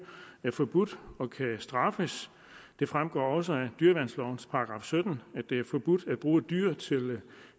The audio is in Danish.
forbudt og kan straffes det fremgår også af dyreværnslovens § sytten at det er forbudt at bruge dyr til